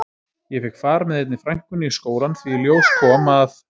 Ég fékk far með einni frænkunni í skólann því í ljós kom að